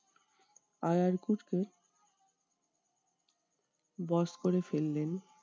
আরার কুট কে বস করে ফেললেন।